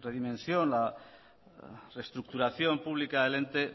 redimensión la reestructuración pública del ente